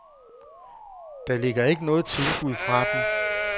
Der ligger ikke noget tilbud fra dem.